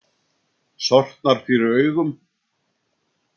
Sortnar fyrir augum.